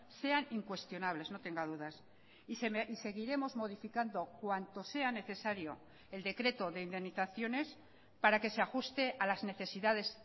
sean incuestionables no tenga dudas y seguiremos modificando cuanto sea necesario el decreto de indemnizaciones para que se ajuste a las necesidades